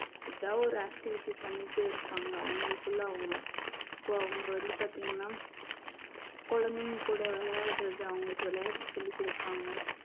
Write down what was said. ஏதாவது ஒரு activity பண்ணிட்டே இருப்பாங்க அவங்களுக்குள்ள அவங்க இப்ப அவங்க வந்து பார்த்தீங்கன்னா குழந்தைங்க கூட விளையாடுறது அவங்களுக்கு விளையாட்டு சொல்லிக் கொடுப்பாங்க